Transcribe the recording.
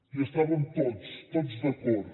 hi estàvem tots tots d’acord